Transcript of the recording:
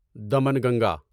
Damanganga